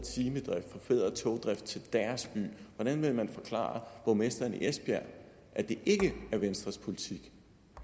togdrift til deres by og hvordan vil han forklare borgmesteren i esbjerg at det ikke er venstres politik